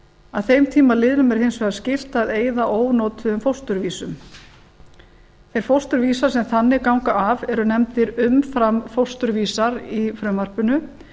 að þeim tíma liðnum er hins vegar skylt að eyða ónotuðum fósturvísum þeir fósturvísar sem þannig ganga af eru nefndir umframfósturvísar í frumvarpinu